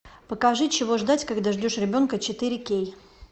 покажи чего ждать когда ждешь ребенка четыре кей